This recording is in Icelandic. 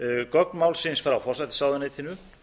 gögn málsins frá forsætisráðuneytinu